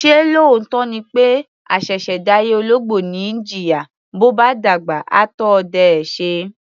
Ṣé lóòótọ́ ni pé àṣẹ̀ṣẹ̀ dáyé ológbò ni í jìyà, bó bá dàgbà, á tó ọdẹ ẹ́ ṣe?